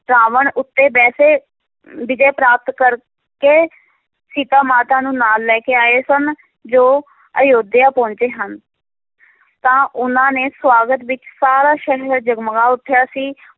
ਰਾਵਨ ਉੱਤੇ ਵੈਸੇ ਵਿਜੈ ਪ੍ਰਾਪਤ ਕਰਕੇ ਸੀਤਾ ਮਾਤਾ ਨੂੰ ਨਾਲ ਲੈ ਕੇ ਆਏ ਸਨ, ਜੋ ਅਯੋਧਿਆ ਪਹੁੰਚੇ ਹਨ ਤਾਂ ਉਹਨਾਂ ਨੇ ਸਵਾਗਤ ਵਿੱਚ ਸਾਰਾ ਸ਼ਹਿਰ ਜਗਮਗਾ ਉਠਿਆ ਸੀ,